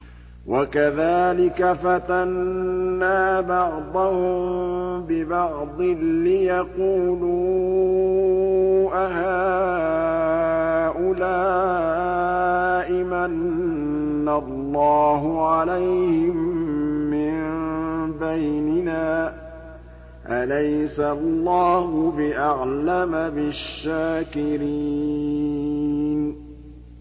وَكَذَٰلِكَ فَتَنَّا بَعْضَهُم بِبَعْضٍ لِّيَقُولُوا أَهَٰؤُلَاءِ مَنَّ اللَّهُ عَلَيْهِم مِّن بَيْنِنَا ۗ أَلَيْسَ اللَّهُ بِأَعْلَمَ بِالشَّاكِرِينَ